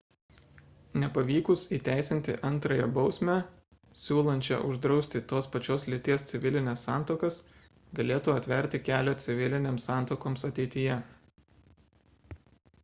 nepavykus įteisinti antrąją bausmę siūlančią uždrausti tos pačios lyties civilines santuokas galėtų atverti kelią civilinėms santuokoms ateityje